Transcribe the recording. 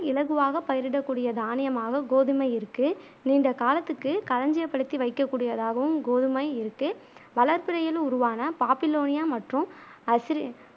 இலகுவாக பயிரிடக் கூடிய தானியமாக கோதுமை இருக்கு நீண்ட காலத்துக்கு கலஞ்சியப் படுத்தி வைக்கக் கூடியதாகவும் கோதுமை இருக்கு வளர்பிறையில் உருவான பாப்பிலோனியா மற்றும் அசிரி